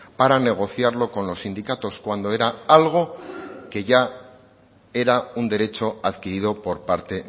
para negociarlo con los sindicatos cuando era algo que ya era un derecho adquirido por parte